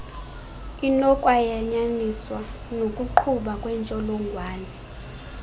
inokwayanyaniswa nokugquba kwentshjolongwane